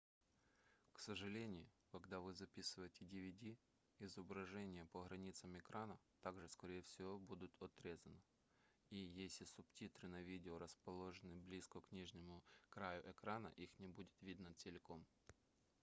к сожалению когда вы записываете dvd изображение по границам экрана также скорее всего будут отрезано и если субтитры на видео расположены близко к нижнему краю экрана их не будет видно целиком